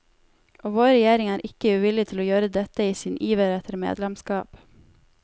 Og vår regjering er ikke uvillig til å gøre dette i sin iver etter medlemskap.